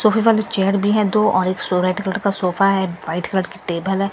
सोफे वाले चेयर भी हैं दो और सो रेड कलर का सोफा है वाइट कलर की टेबल है।